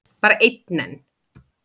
Bara einn enn?